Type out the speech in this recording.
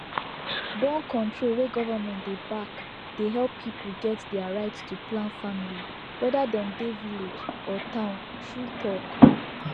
borncontrol wey government dey backdey help people get their right to plan familywhether dem dey village or town true talk